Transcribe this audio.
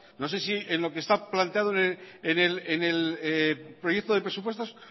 no sé si en lo que está planteando en el proyecto de presupuestos